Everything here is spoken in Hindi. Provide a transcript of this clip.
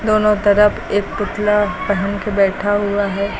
दोनों तरफ एक पुतला पेहन के बैठा हुआ है।